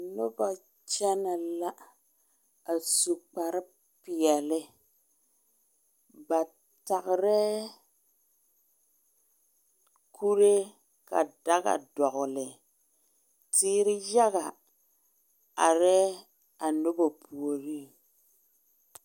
Noba kyɛne la, a su kparre. pɛɛle., ba tagera kure ka daga dɔgeli teere yaga aree a noba puoriŋ.